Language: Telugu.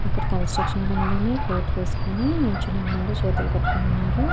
ఇక్కడ కన్స్ట్రక్షన్ పనిలోనే కొటు వేసుకొని నిల్చొని ఉన్నారు చేతులు కట్టుకుని ఉన్నారు.